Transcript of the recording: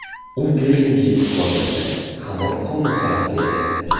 U Berlinga yetib borganda hamon koma holatida edi.